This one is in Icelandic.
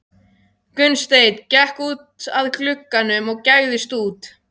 Gunnsteinn gekk út að glugganum og gægðist út.